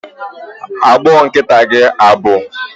Agbụọ nkịta gị agbụ?